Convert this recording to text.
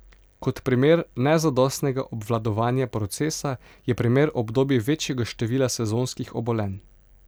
Kot primer nezadostnega obvladovanja procesa je primer obdobij večjega števila sezonskih obolenj.